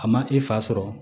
A ma i fa sɔrɔ